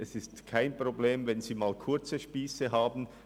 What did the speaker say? Es ist kein Problem, wenn Sie mal kurze Spiesse haben.